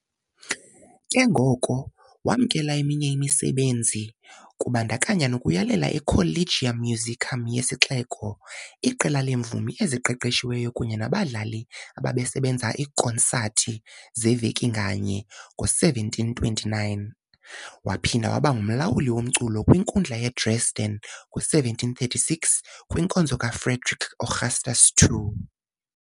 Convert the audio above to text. Ke ngoko, wamkela eminye imisebenzi, kubandakanya nokuyalela i-Collegium Musicum yesixeko, iqela leemvumi eziqeqeshiweyo kunye nabadlali ababesenza ikonsathi zeveki nganye, ngo-1729. Waphinda waba ngumlawuli womculo kwiNkundla yaseDresden ngo-1736, kwinkonzo kaFrederick Augustus II.